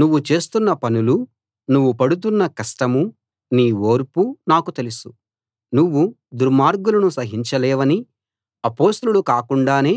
నువ్వు చేస్తున్న పనులూ నువ్వు పడుతున్న కష్టమూ నీ ఓర్పూ నాకు తెలుసు నువ్వు దుర్మార్గులను సహించలేవనీ అపొస్తలులు కాకుండానే